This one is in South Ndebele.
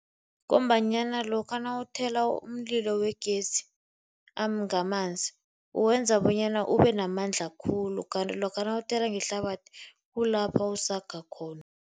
Ngombanyana lokha nawuthela umlilo wegezi ngamanzi uwenza bonyana ubenamandla khulu kanti lokha nawuthela ngehlabathi kulapha usaga khona.